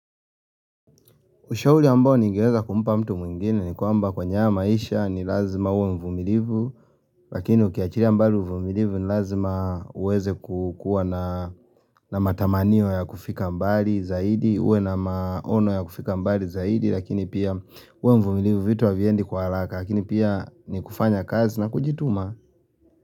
Ushauri ambao ningeweza kumpa mtu mwingine ni kwamba kwenye haya maisha ni lazima uwe mvumilivu, lakini ukiachilia mbali uvumilivu ni lazima uweze kukuwa na na matamanio ya kufika mbali zaidi, uwe na maono ya kufika mbali zaidi, lakini pia kuwa mvumilivu vitu haviendi kwa haraka, lakini pia ni kufanya kazi na kujituma.